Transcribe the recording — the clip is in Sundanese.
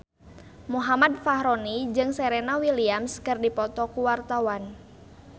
Muhammad Fachroni jeung Serena Williams keur dipoto ku wartawan